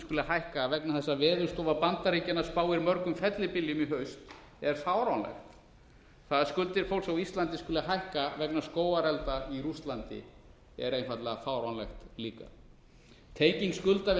skuli hækka vegna þess að veðurstofa bandaríkjanna spáir mörgum fellibyljum í haust er fáránlegt það að skuldir fólks á íslandi skuli hækka vegna skógarelda í rússlandi er einfaldlega fáránlegt líka tenging skulda við